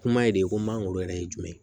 Kuma de ko mangoro yɛrɛ ye jumɛn ye